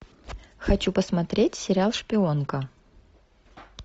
хочу посмотреть сериал шпионка